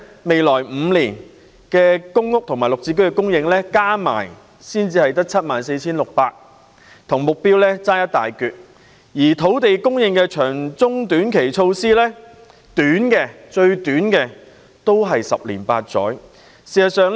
未來5年公屋及綠表置居先導計劃的供應加起來只有 74,600 個單位，與目標相距甚遠；而土地供應的長中短期措施，最短期的措施都要十年八載才見成效。